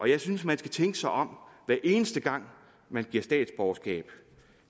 jeg synes at man skal tænke sig om hver eneste gang man giver statsborgerskab